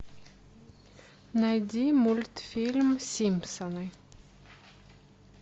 найди мультфильм симпсоны